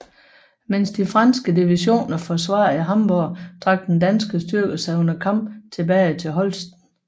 Mens de franske divisioner forsvarede Hamburg trak den danske styrke sig under kamp tilbage til Holsten